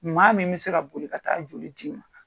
Maa min bɛ se ka boli ka taa a joli d'i ma.